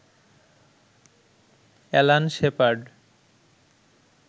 Alan shepherd